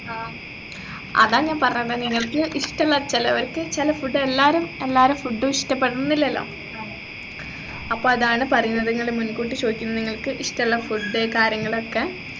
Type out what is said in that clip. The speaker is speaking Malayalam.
ആഹ് അതാണ് ഞാൻ പറഞ്ഞത് നിങ്ങൾക്കിഷ്ടല്ല ചെലവരിക്ക് ചെല food എല്ലാരും എല്ലാരെ food ഉ ഇഷ്ടപ്പെടണംന്നില്ലല്ലോ അപ്പൊ അതാണ് പറീണത് ഞങ്ങൾ മുൻകൂട്ടി ചോയ്ക്കുന്ന നിങ്ങൾക്കിഷ്ടള്ള food ഉ കാര്യങ്ങളൊക്കെ